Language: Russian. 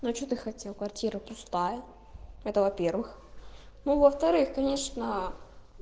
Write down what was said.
ну а что ты хотел квартира пустая это во-первых ну а во-вторых конечноо